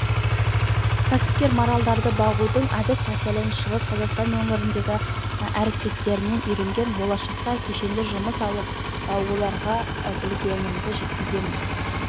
кәсіпкер маралдарды бағудың әдіс-тәсілін шығыс қазақстан өңіріндегі әріптестерінен үйренген болашақта кешенге жұмысшы алып оларға білгенімді жеткіземін